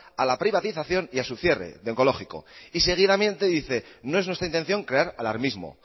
a la privatización y a su cierre del oncológico y seguidamente dice no es nuestra intención crear alarmismo